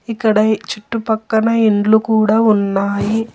ఇక్కడ ఈ చుట్టుపక్కన ఇండ్లు కూడా ఉన్నాయి.